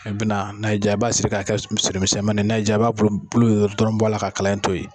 I bina n'a y'i ja i b'a siri ka kɛ misɛn misɛnmanni n'a y'i ja i b'a bulu bulu in dɔrɔn bɔ a la ka kalan in to yen.